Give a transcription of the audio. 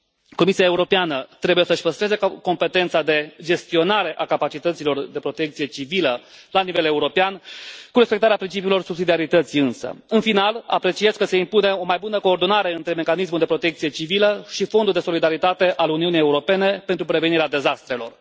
Comisia Europeană trebuie să și păstreze competența de gestionare a capacităților de protecție civilă la nivel european însă cu respectarea principiilor subsidiarității. În final, apreciez că se impune o mai bună coordonare între Mecanismul de protecție civilă și Fondul de solidaritate al Uniunii Europene pentru prevenirea dezastrelor.